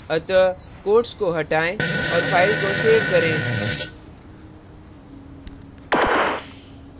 अतः quotes को हटाएँ और file को so करें